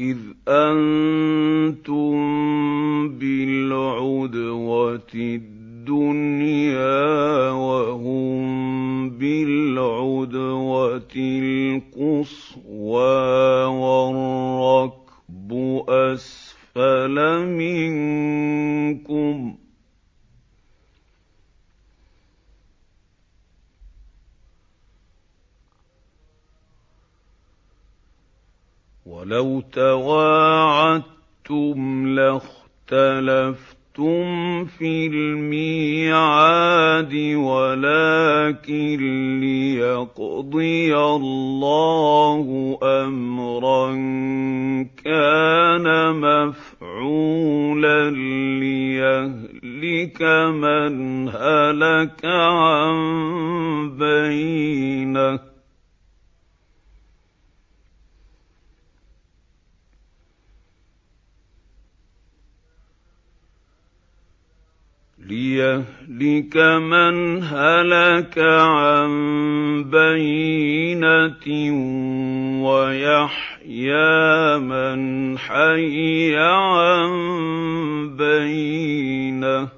إِذْ أَنتُم بِالْعُدْوَةِ الدُّنْيَا وَهُم بِالْعُدْوَةِ الْقُصْوَىٰ وَالرَّكْبُ أَسْفَلَ مِنكُمْ ۚ وَلَوْ تَوَاعَدتُّمْ لَاخْتَلَفْتُمْ فِي الْمِيعَادِ ۙ وَلَٰكِن لِّيَقْضِيَ اللَّهُ أَمْرًا كَانَ مَفْعُولًا لِّيَهْلِكَ مَنْ هَلَكَ عَن بَيِّنَةٍ وَيَحْيَىٰ مَنْ حَيَّ عَن بَيِّنَةٍ ۗ